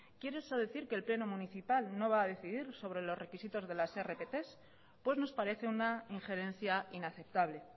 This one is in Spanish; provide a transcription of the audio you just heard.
quiere eso decir que el pleno municipal no va a decidir sobre los requisitos de las rpts pues nos parece una ingerencia inaceptable